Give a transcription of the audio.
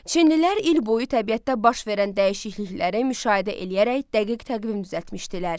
Çinlilər il boyu təbiətdə baş verən dəyişiklikləri müşahidə edərək dəqiq təqvim düzəltmişdilər.